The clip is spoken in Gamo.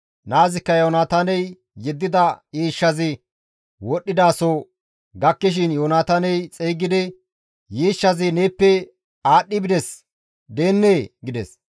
Naazikka Yoonataaney yeddida yiishshazi wodhdhidaso gakkishin Yoonataaney xeygidi, «Yiishshazi neeppe aadhdhi bides deennee?» gides.